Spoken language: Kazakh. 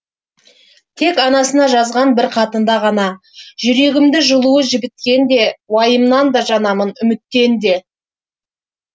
тек анасына жазған бір хатында ғана жүрегімді жылуы жібіткенде уайымнан да жанамын үміттен де